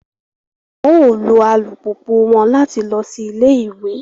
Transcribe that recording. Wọn o lo alupupu wọn làti lọ sí ilé-ìwé